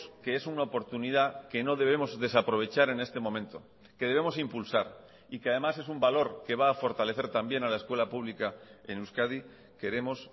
que es una oportunidad que no debemos desaprovechar en este momento que debemos impulsar y que además es un valor que va a fortalecer también a la escuela pública en euskadi queremos